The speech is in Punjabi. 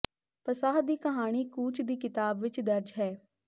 ਪਸਾਹ ਦੀ ਕਹਾਣੀ ਕੂਚ ਦੀ ਕਿਤਾਬ ਵਿਚ ਦਰਜ ਹੈ